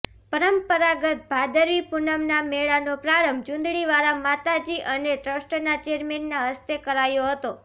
પરંપરાગત ભાદરવી પૂનમના મેળાનો પ્રારંભ ચૂંદડીવાળા માતાજી અને ટ્રસ્ટના ચેરમેનના હસ્તે કરાયો હતો